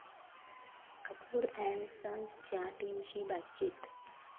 Kapoor and सन्स'च्या टीमशी बातचीत